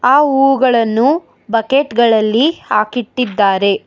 ಆ ಹೂಗಳನ್ನು ಬಕೆಟ್ ಗಳಲ್ಲಿ ಹಾಕಿಟ್ಟಿದ್ದಾರೆ.